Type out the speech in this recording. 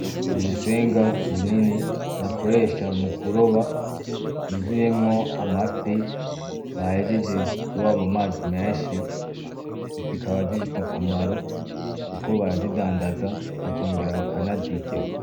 Urusenga runini bakoresha mukuroba, ruzuyemo amafi bahejeje kuroba mumazi menshi, zikaba zifise akamaro kuko barazidandaza ba kongera bakanazirya.